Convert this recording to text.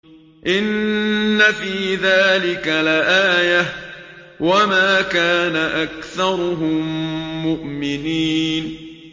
إِنَّ فِي ذَٰلِكَ لَآيَةً ۖ وَمَا كَانَ أَكْثَرُهُم مُّؤْمِنِينَ